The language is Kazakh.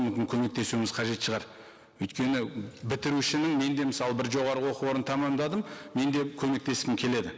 мүмкін көмектесуіміз қажет шығар өйткені бітірушінің мен де мысалы бір жоғарғы оқы орнын тамамдадым мен де көмектескім келеді